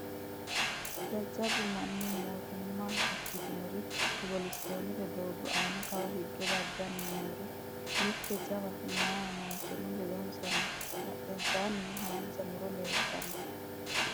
Jajjabbu manni moottima ikitinori cobbilisitonete doogo aana Kawa higge daggani nooretti mitte jawa meyaa manichono leddonisa noo badhennisanino haanija murro leelitanno